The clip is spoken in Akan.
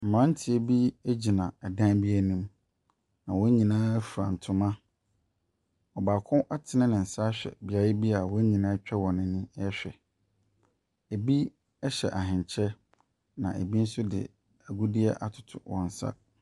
Mmranteɛ bi gyina ɛdan bi anam. Na wɔn nyinaa fura ntoma. Ↄbaako atene ne nsa ahwɛ beaeɛ bi a wɔn nyinaa atwa wɔn ani rehwɛ. Ebi hyɛ ahenkyɛ na ebi nso de agudeɛ atoto wɔn nsa.